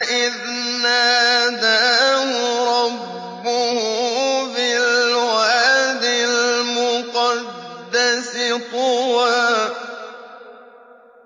إِذْ نَادَاهُ رَبُّهُ بِالْوَادِ الْمُقَدَّسِ طُوًى